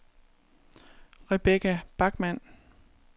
Rebekka Bachmann